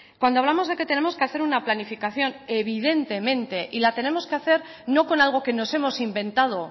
cuando hablamos de que tenemos que hacer una planificación evidentemente y la tenemos que hacer no con algo que nos hemos inventado